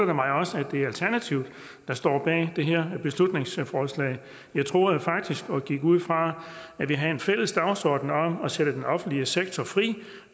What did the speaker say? det mig også at det er alternativet der står bag det her beslutningsforslag jeg troede faktisk og gik ud fra at vi havde en fælles dagsorden om at sætte den offentlige sektor fri